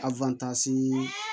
A